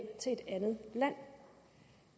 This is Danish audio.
til et andet land